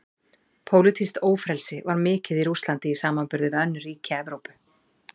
Pólitískt ófrelsi var mikið í Rússlandi í samanburði við önnur ríki Evrópu.